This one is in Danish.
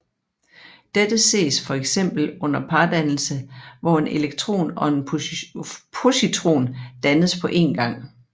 Dette ses for eksempel under pardannelse hvor en elektron og en positron dannes på en gang